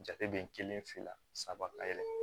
Jate bɛ n kelen fila saba ka yɛlɛ